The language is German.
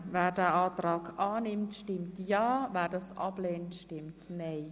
Wer den Kreditantrag annimmt, stimmt ja, wer ihn ablehnt, stimmt nein.